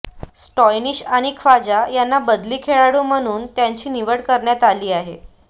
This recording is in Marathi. स्टॉयनिस आणि ख्वाजा यांना बदली खेळाडू म्हणून त्यांची निवड करण्यात आली आहे